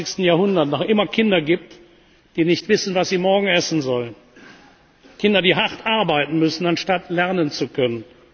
im 21. Jahrhundert noch immer Kinder gibt, die nicht wissen, was sie morgen essen sollen, Kinder, die hart arbeiten müssen, anstatt lernen zu können.